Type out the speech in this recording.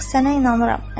Yox, sənə inanıram.